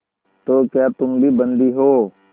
तो क्या तुम भी बंदी हो